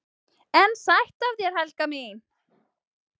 """EN SÆTT AF ÞÉR, HELGA MÍN!"""